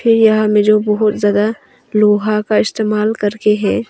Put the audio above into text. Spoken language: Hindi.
यह हमें जो बहुत ज्यादा लोहा का इस्तेमाल करके है।